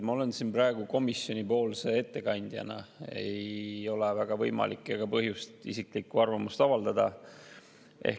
Ma olen siin praegu komisjonipoolse ettekandjana, mul ei ole võimalik ega põhjust isiklikku arvamust avaldada.